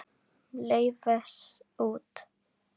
Laufás út.